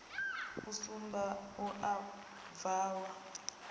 a sumbe a u bvalwa